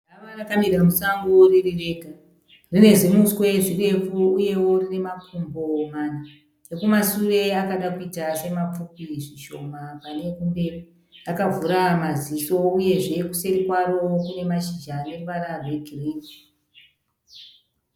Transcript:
Gava rakamira musango riri rega. Rine zimuswe zirefu uyewo rine makumbo mana, ekumasure akada kuita semapfupi zvishoma pane ekumberi. Rakavhura maziso uyezve kuseri kwaro kune mashizha ane ruvara rwegirini.